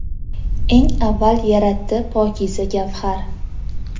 Eng avval yaratdi pokiza gavhar.